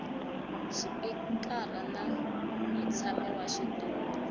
xipikara na mutshami wa xitulu